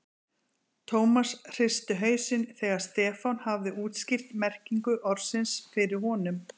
Thomas hristi hausinn þegar Stefán hafði útskýrt merkingu orðsins fyrir honum.